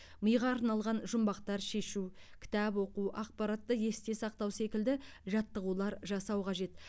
миға арналған жұмбақтар шешу кітап оқу ақпаратты есте сақтау секілді жаттығулар жасау қажет